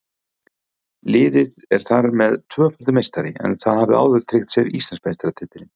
Liðið er þar með tvöfaldur meistari en það hafði áður tryggt sér Íslandsmeistaratitilinn.